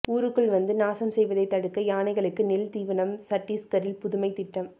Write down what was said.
ஊருக்குள் வந்து நாசம் செய்வதை தடுக்க யானைகளுக்கு நெல் தீவனம் சட்டீஸ்கரில் புதுமை திட்டம்